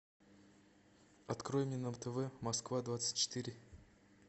открой мне на тв москва двадцать четыре